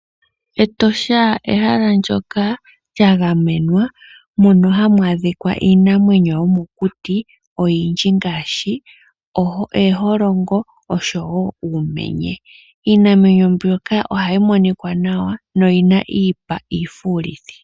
Etosha ehala ndyoka lyagamenwa mono hamu adhika iinamwenyo yomokuti oyindji ngaashi ooholongo osho wo uumenye. Iinamwenyo mbyoka ohayi monika nawa noyi na iipa iifuulithi.